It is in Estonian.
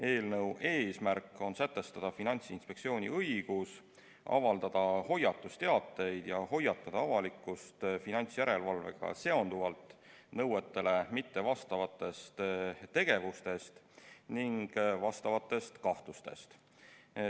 Eelnõu eesmärk on sätestada Finantsinspektsiooni õigus avaldada hoiatusteateid ja hoiatada avalikkust finantsjärelevalvega seonduvalt nõuetele mittevastavatest tegevustest ning vastavatest kahtlustest.